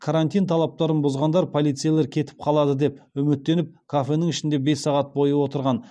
карантин талаптарын бұзғандар полицейлер кетіп қалады деп үміттеніп кафенің ішінде бес сағат бойы отырған